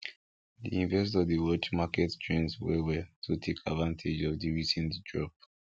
di investor dey watch market trends well well to take advantage of the recent drop